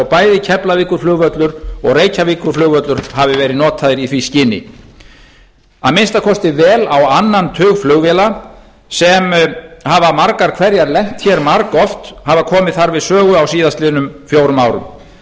bæði keflavíkurflugvöllur og reykjavíkurflugvöllur hafi verið notaðir í því skyni að minnsta kosti vel á annan tug flugvéla sem hafa margar hverjar lent margoft hafa komið þar við sögu á síðastliðnum fjórum árum